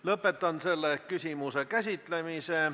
Lõpetan selle küsimuse käsitlemise.